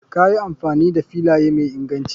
Kayi amfani da filaya mai inganci.